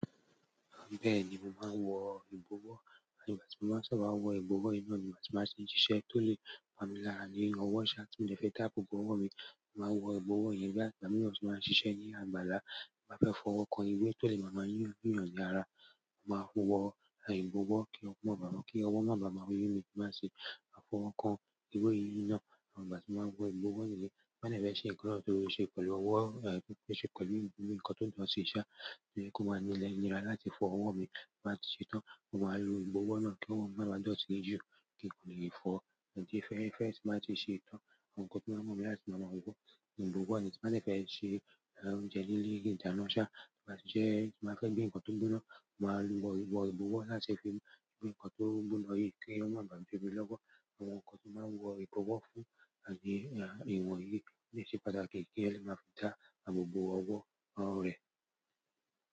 Bẹ́ẹ̀ni, mo máa ń wọ ìbọwọ́, àní ìgbà tí mo máa sábà wọ ìbọwọ́ yìí náà ni ìgbà tí màá ṣe ṣiṣẹ́ tó lè pamí lára ní ọwọ́ ṣá tí mo fẹ́ táàpù gọwọ́ mi, màá wọ ìbọwọ́ yìí bí àgbà mí ò ṣì máa ń ṣiṣẹ́ ní àgbàlá. Mo bá fẹ́ fọwọ́ kan ìwé tó lè máa máa yún yún ní ara, mo máa ń wọ ìbowọ́ ki ọwọ́ máa ba yún mi tí mo bá ti fọwọ́ kan ewé yí nà n. Mo máa lo ìbọwọ́ náà kí ọwọ́ màá máa dọ̀tí jíjù kí n lè fọ̀. Ẹ̀ tí fẹ́ fẹ́ ṣì máa tí ṣe tán, àwọn nkán tí màá mú mi láti máa máa wọ ìbọwọ́, ìbọwọ́ ni ti màá fẹ́ ṣe oúnjẹ líle, ìtanná ṣá, bá ti jẹ́ tí màá fẹ́ gbin nǹkan tó ń gbóná, màá lo ìbọ ìbọwọ́ láti fi gbin nǹkan tó ń gbóná yìí kí ó máa ba jó mi lọ́wọ́. Àwọn nkán tí màá wọ ìbọwọ́ fún, àní ìwọ̀n yìí ni ṣe pàtàkì kí ẹni máa fi dá àbò bo ọwọ́ rẹ̀.